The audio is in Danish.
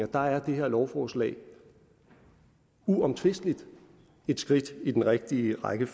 der er det her lovforslag uomtvisteligt et skridt i den rigtige retning